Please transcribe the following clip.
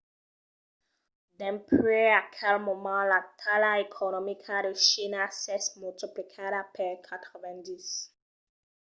dempuèi aquel moment la talha economica de china s'es multiplicada per 90